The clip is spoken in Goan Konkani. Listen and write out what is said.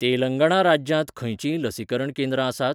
तेलंगणा राज्यांत खंयचींय लसीकरण केंद्रां आसात?